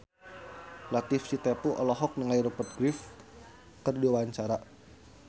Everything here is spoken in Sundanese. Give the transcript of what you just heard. Latief Sitepu olohok ningali Rupert Graves keur diwawancara